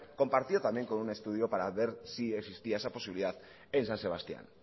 compartió también con un estudio para ver si existía esa posibilidad en san sebastián